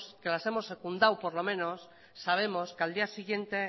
que las hemos secundado por lo menos sabemos que al día siguiente